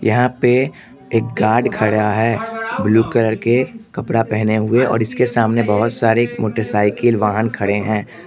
यहां पे एक गार्ड खड़ा है ब्लू कलर के कपड़ा पहने हुए और इसके सामने बहोत सारे मोटरसाइकिल वाहन खड़े हैं।